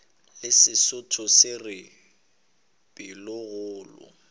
le sesotho se re pelokgolo